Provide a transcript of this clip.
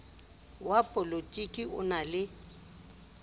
wa polotiki o na le